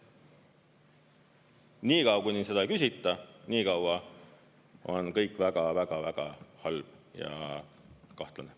Niikaua, kuni seda ei küsita, niikaua on kõik väga-väga-väga halb ja kahtlane.